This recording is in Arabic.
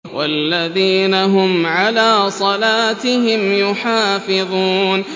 وَالَّذِينَ هُمْ عَلَىٰ صَلَاتِهِمْ يُحَافِظُونَ